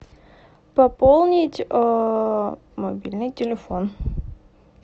пополнить мобильный телефон